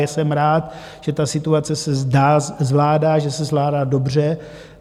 Ale jsem rád, že ta situace se zvládá, že se zvládá dobře.